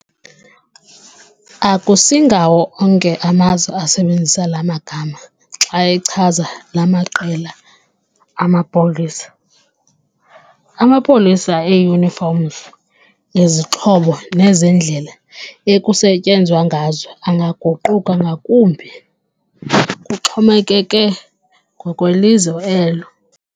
Akusingawo onke amazwe asebenzisa laa magama xa echaza laa maqela amapolisa. Amapolisa e-uniforms, ezixhobo nezendlela ekusetyenzwa ngazo angaguquka ngakumbi, kuxhomekeke ngokwelizwe elo.